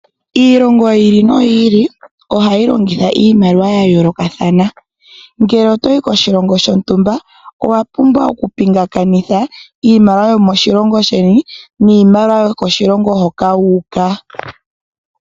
Iilongo yili noyili ohayi longitha iimaliwa yayoolokathana. Ngele otoyi koshilongo shontumba owapumbwa okutaambathana iimaliwa yomoshilongo sheni niimaliwa yokoshilongo hoka.